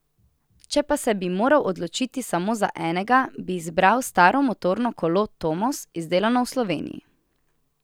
Če pa bi se moral odločiti samo za enega, bi izbral staro motorno kolo Tomos, izdelano v Sloveniji.